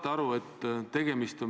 Tänan, juhataja!